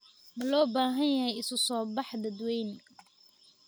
Ma loo baahan yahay isu soo bax dadweyne?